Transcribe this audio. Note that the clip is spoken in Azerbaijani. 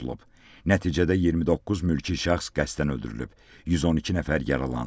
Nəticədə 29 mülki şəxs qəsdən öldürülüb, 112 nəfər yaralanıb.